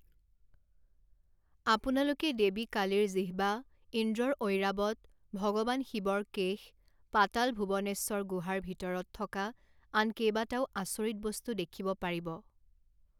আপোনালোকে দেৱী কালীৰ জিহ্বা, ইন্দ্ৰৰ ঐৰাবত, ভগবান শিৱৰ কেশ, পাতাল ভুৱনেশ্বৰ গুহাৰ ভিতৰত থকা আন কেইবাটাও আচৰিত বস্তু দেখিব পাৰিব।